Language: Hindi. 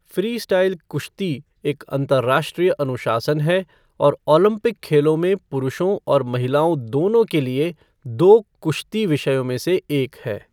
फ़्रीस्टाइल कुश्ती एक अंतर्राष्ट्रीय अनुशासन है और ओलंपिक खेलों में पुरुषों और महिलाओं दोनों के लिए दो कुश्ती विषयों में से एक है।